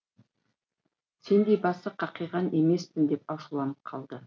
сендей басы қақиған емеспін деп ашуланып қалды